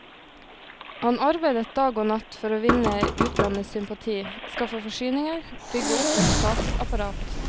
Han arbeidet dag og natt for å vinne utlandets sympati, skaffe forsyninger, bygge opp et statsapparat.